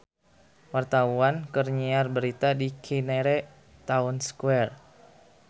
Wartawan keur nyiar berita di Cinere Town Square